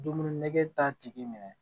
Dumuni nɛgɛ t'a tigi minɛ